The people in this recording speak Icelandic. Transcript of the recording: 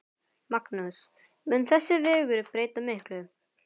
Magnús: Mun þessi vegur breyta miklu?